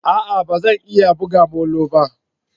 A'a! Ba zan iya buga molo ba.